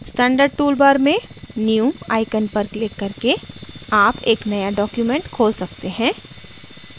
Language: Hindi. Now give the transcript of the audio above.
standard toolbar में new icon पर क्लिक करके आप एक नया document खोल सकते हैं